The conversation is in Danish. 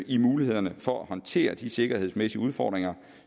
i mulighederne for at håndtere de sikkerhedsmæssige udfordringer